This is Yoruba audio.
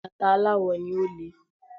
Bàtà aláwò ni, ó le.